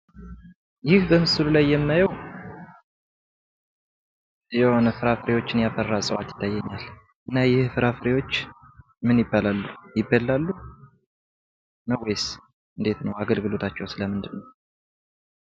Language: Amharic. ይህ በምስሉ ላይ የማየው የሆነ ፍራፍሬዎችን ያፈራ እጽዋት ነው። እና እነዚህ ፍራፍሬዎች ምን ይባላሉ ?ይበላሉ? ወይስ እንዴት ነው? አገልግሎታችው?